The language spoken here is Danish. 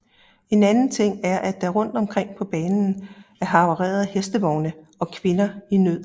En anden ting er at der rundt omkring på banen er havarerede hestevogne og kvinder i nød